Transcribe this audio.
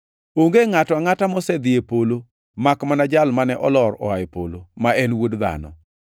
Onge ngʼato angʼata mosedhi e polo makmana Jal mane olor oa e polo, ma en Wuod Dhano.